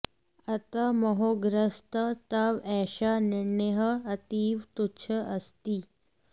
अतः मोहग्रस्तः तव एषः निर्णयः अतीव तुच्छः अस्ति